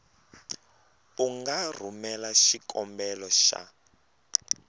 u nga rhumela xikombelo xa